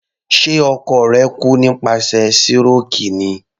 Ṣe ọkọ rẹ̀ kú nípasẹ̀ síròkì ni?